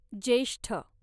ज्येष्ठ